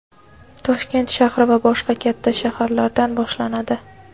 Toshkent shahri va boshqa katta shaharlardan boshlanadi.